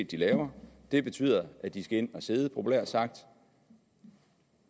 de laver det betyder at de skal ind og sidde populært sagt